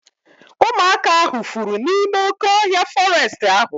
Ụmụaka ahu fụrụ n'ime oké ọhịa fọrestị ahu